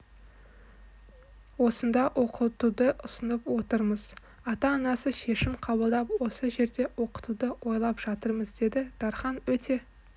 осында оқытуды ұсынып отырмыз ата-анасы шешім қабылдап осы жерде оқытуды ойлап жатырмыз деді дархан өте